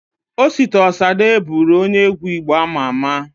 Osita Osade bụru onye egwu Igbo ama ama